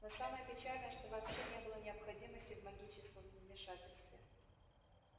но самое печальное что вообще не было необходимости в магическом вмешательстве